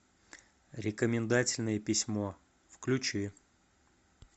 рекомендательное письмо включи